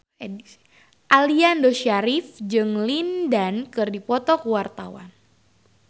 Aliando Syarif jeung Lin Dan keur dipoto ku wartawan